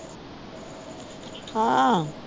ਹਾਂ?